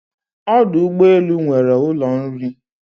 Ọdụ ụgbọ elu nwere ụlọ nri